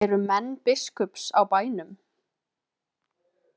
Eru menn biskups á bænum?